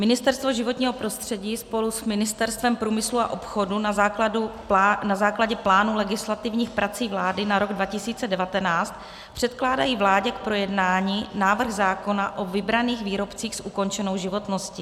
Ministerstvo životního prostředí spolu s Ministerstvem průmyslu a obchodu na základě plánu legislativních prací vlády na rok 2019 předkládají vládě k projednání návrh zákona o vybraných výrobcích s ukončenou životností.